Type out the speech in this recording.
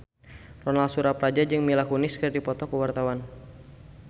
Ronal Surapradja jeung Mila Kunis keur dipoto ku wartawan